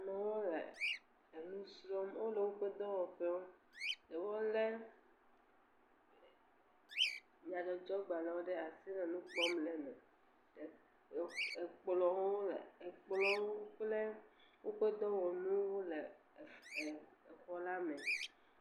Amewo le enu srɔ, wole woƒe dɔwɔƒewo. Wole nyadzɔdzɔgbalẽ ɖe asi le nukpɔm le eme, Ekplɔ ekplɔwo kple woƒe dɔwɔnuwo le exɔ la me.